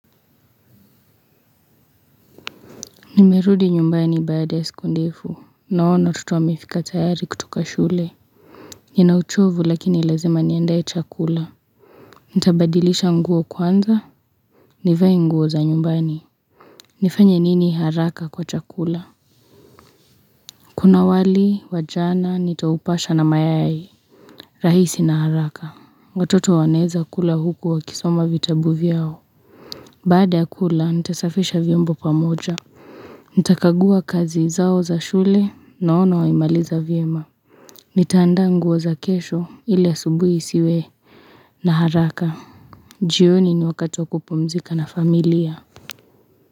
Nimerudi nyumbani baaaa ya siku ndefu. Naona watoto wamefika tayari kutoka shule. Nina uchovu lakini lazima niandae dchakula. Nita badilisha nguo kwanza. Nivaennguo za nyumbani. Nifanya nini haraka kwa chakula. Kuna wali, wajl jana, nitaupasha na mayai. Rahisi na haraka. Watoto wanaweza kula huku wakisoma vitabu vyao. Baada ya kula, nita safisha vyombo pamoja. Nitakagua kazi zao za shule naona wamemaliza vyema Nitaanda nguo za kesho ili asubui isiwe na haraka jioni ni wakati wa kupumzika na familia.